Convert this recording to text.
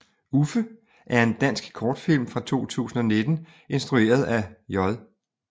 Uffe er en dansk kortfilm fra 2019 instrueret af J